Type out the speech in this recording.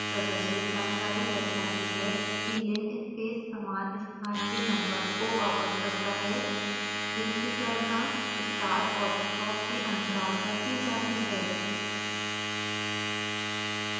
प्रदर्शित जानकारी दर्शाती है कि